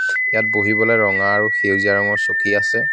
ইয়াত বহিবলৈ ৰঙা আৰু সেউজীয়া ৰঙৰ চকী আছে.